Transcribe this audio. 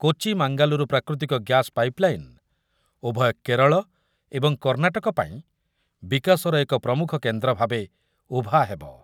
କୋଚି ମାଙ୍ଗାଲୁରୁ ପ୍ରାକୃତିକ ଗ୍ୟାସ ପାଇପଲାଇନ ଉଭୟ କେରଳ ଏବଂ କର୍ଣ୍ଣାଟକ ପାଇଁ ବିକାଶର ଏକ ଏକ ପ୍ରମୁଖ କେନ୍ଦ୍ର ଭାବେ ଉଭା ହେବ।